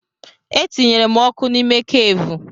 Etinyere m ọkụ n'ime keevu.